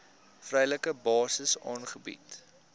vrywillige basis aangebied